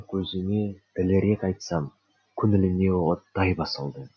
көзіме дәлірек айтсам көңіліме оттай басылды